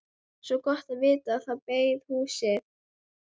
Svo gott að vita að það beið, húsið.